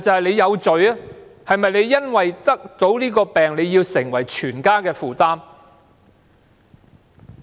他是否要因為患病而成為全家的負擔？